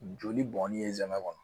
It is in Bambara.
Joli bɔn ni ye zɛmɛ kɔnɔ